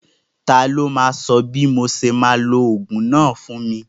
Ta ló máa sọ bí mo ṣe máa lo ogún náà fún mi?